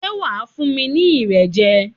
Ṣé wà á fún mi ní Irẹ̀ jẹ?